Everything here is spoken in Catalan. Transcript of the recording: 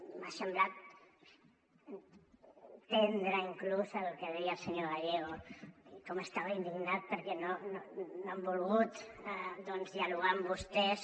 m’ha semblat entendre inclús el que deia el senyor gallego i com estava d’indignat perquè no han volgut dialogar amb vostès